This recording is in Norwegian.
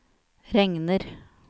regner